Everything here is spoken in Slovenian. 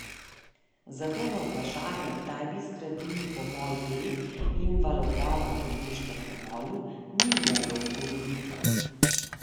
Zato na vprašanje, kdaj bi zgradili pomol B in valobran ob ribiškem pomolu, ni mogel odgovoriti.